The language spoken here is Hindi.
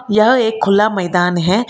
यह एक खुला मैदान है।